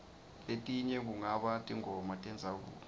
letinye kungaba tingoma tendzabuko